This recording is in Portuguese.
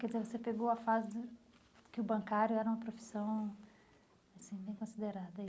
Quer dizer, você pegou a fase do que o bancário era uma profissão assim bem considerada.